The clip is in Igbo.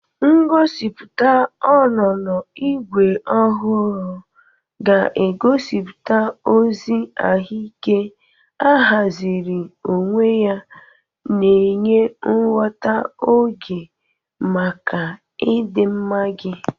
Ngosipụta onónó Igwe ohuru ga-egosipụta ozi ahụike ahaziri onwe ya, na-enye nghọta oge maka ịdịmma gị.